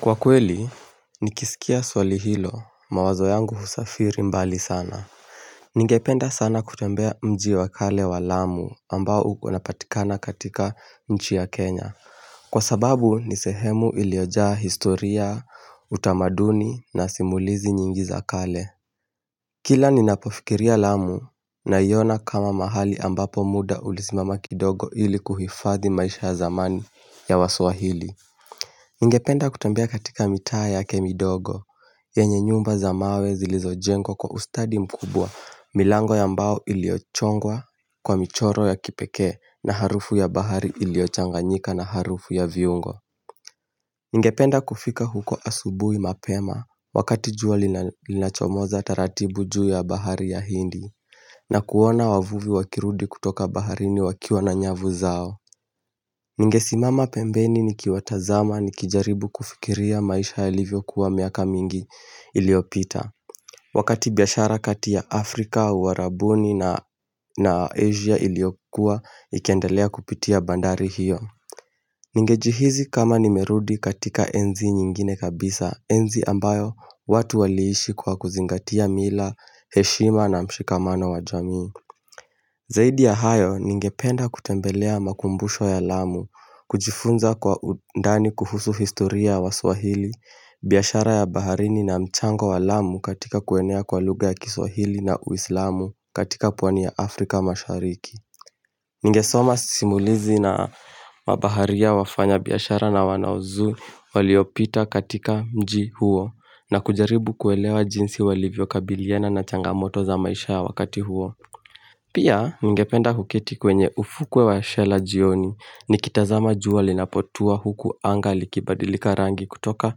Kwa kweli, nikisikia swali hilo mawazo yangu husafiri mbali sana. Ningependa sana kutembea mji wakale wa lamu ambao unapatikana katika chi ya Kenya. Kwa sababu nisehemu iliojaa historia, utamaduni na simulizi nyingi za kale. Kila ninapofikiria lamu naiona kama mahali ambapo muda ulisimama kidogo ili kuhifadhi maisha ya zamani ya wasuahili. Ningependa kutambia katika mita yake midogo, yenye nyumba za mawe zilizo jengo kwa ustadi mkubwa milango ya mbao iliochongwa kwa michoro ya kipeke na harufu ya bahari iliochanganyika na harufu ya viungo. Ninge penda kufika huko asubui mapema wakati juwa linachomoza tarati buju ya bahari ya hindi na kuona wavuvi wakirudi kutoka bahari ni wakiwa na nyavu zao. Ningesimama pembeni ni kiwatazama ni kijaribu kufikiria maisha yalivyo kuwa miaka mingi iliopita. Wakati biashara kati ya Afrika, Warabuni na Asia iliokua ikiendalea kupitia bandari hiyo. Ningejihizi kama nimerudi katika enzi nyingine kabisa, enzi ambayo watu waliishi kwa kuzingatia mila, heshima na mshikamano wa jami. Zaidi ya hayo ningependa kutembelea makumbusho ya lamu, kujifunza kwa undani kuhusu historia wa swahili, biashara ya baharini na mchango wa lamu katika kuenea kwa luga ya kiswahili na uislamu katika pwani ya Afrika mashariki. Ngesoma simulizi na mbaharia wafanya biyashara na wanaozu waliopita katika mji huo na kujaribu kuelewa jinsi walivyo kabiliana na changamoto za maisha ya wakati huo. Pia ngependa hukiti kwenye ufukwe wa shela jioni ni kitazama juwa linapotua huku angali kibadilika rangi kutoka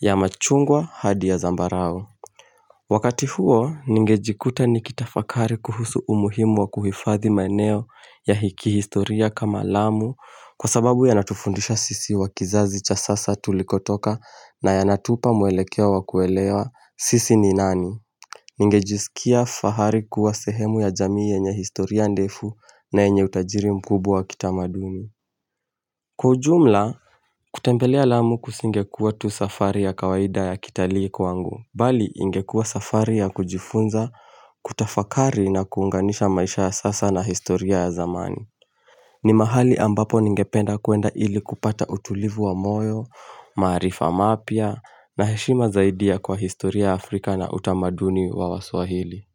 ya machungwa hadi ya zambarao. Wakati huo ngejikuta nikitafakari kuhusu umuhimu wa kuhifathi maneo ya hiki historia kama alamu kwa sababu ya natufundisha sisi wa kizazi cha sasa tulikotoka na ya natupa muelekea wa kuelewa sisi ni nani. Ningejisikia fahari kuwa sehemu ya jamii enye historia ndefu na enye utajiri mkubu wa kitamaduni Kujumla, kutembelea lamu kusingekua tu safari ya kawaida ya kitaliku wangu Bali ingekua safari ya kujifunza kutafakari na kuunganisha maisha ya sasa na historia ya zamani ni mahali ambapo ningependa kuenda ili kupata utulivu wa moyo, maarifa mapya na heshima zaidia kwa historia ya Afrika na utamaduni wa wasuahili.